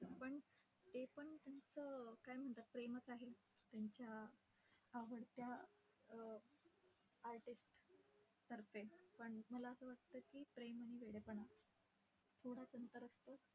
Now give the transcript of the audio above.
पण ते पण त्याचं, काय म्हणतात, प्रेमात आहे त्यांच्या आवडत्या अं artist तर्फे. पण मला असं वाटतं की, प्रेम आणि वेडेपणा, थोडंच अंतर असतं.